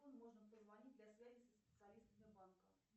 кому можно позвонить для связи со специалистом сбербанка